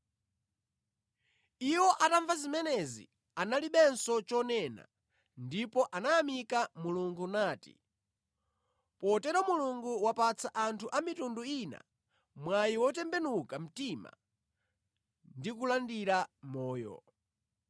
Iwo atamva zimenezi analibenso chonena ndipo anayamika Mulungu nati, “Potero Mulungu wapatsa anthu a mitundu ina mwayi wotembenuka mtima ndi kulandira moyo.”